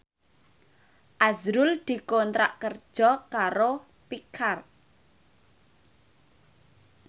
azrul dikontrak kerja karo Pixar